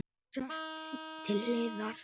Hún var sett til hliðar.